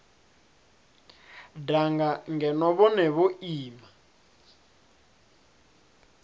danga ngeno vhone vho ima